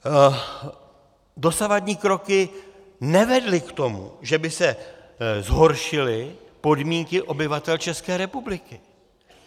Dosavadní kroky nevedly k tomu, že by se zhoršily podmínky obyvatel České republiky.